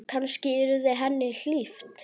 Kannski yrði henni hlíft.